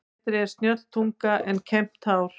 Betri er snjöll tunga en kembt hár.